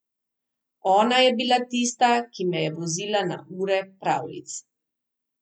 Ona je bila tista, ki me je vozila na ure pravljic.